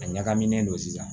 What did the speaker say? A ɲagaminen don sisan